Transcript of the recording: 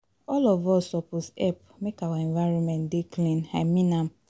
All of us suppose help make our environment dey clean, I mean am